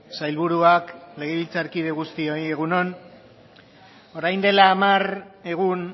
sailburuak legebiltzarkide guztioi egun on isiltasuna mesedez orain dela hamar egun